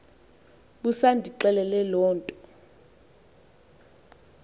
busandixelela loo nto